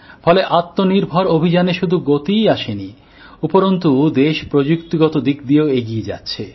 ফলে আত্মনির্ভর অভিযানে শুধু গতিই আসেনি উপরন্তু দেশ প্রযুক্তিগত দিক দিয়েও এগিয়ে যাচ্ছে